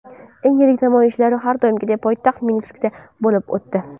Eng yirik namoyishlar har doimgidek poytaxt Minskda bo‘lib o‘tdi.